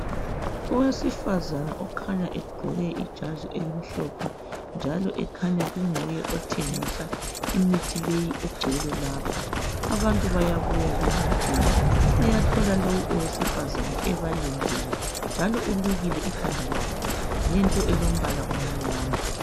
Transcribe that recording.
Owesifazana okhanya egqoke ijazi elimhlophe njalo ekhanya kunguye othengisa imithi leyi egcwele lapha. Abantu bayabuya bezothenga bayathola lowu owesifazana njalo elukile ikhanda ngento elombala omnyama.